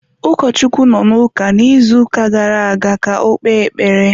Ụkọchukwu nọ n’ụka n’izuuka gara-aga ka ọ kpee ekpere.